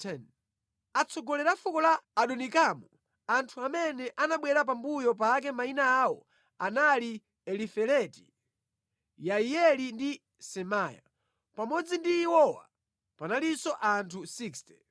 Atsogoleri a fuko la Adonikamu, anthu amene anabwera pambuyo pake mayina awo anali Elifeleti, Yeiyeli ndi Semaya. Pamodzi ndi iwowa panalinso anthu 60.